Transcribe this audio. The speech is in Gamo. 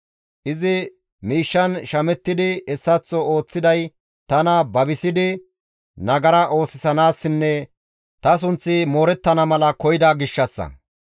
Izi miishshan shamettidi hessaththo ooththiday tana babisidi nagara oosisanaassinne ta sunth moorettana mala koyida gishshassa.